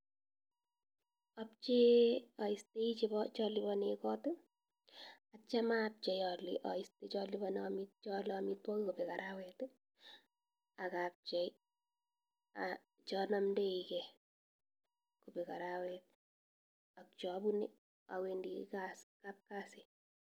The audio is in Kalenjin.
Objee ostoi cholibonen koot ak kitio abchei olee oiste cholibonen choole amitwokik kobek arawet ak abchei chonomndoike kobek araweta ak cheobune owendi kapkasi.